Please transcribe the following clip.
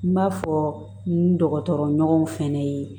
N b'a fɔ n dɔgɔtɔrɔ ɲɔgɔnw fɛnɛ ye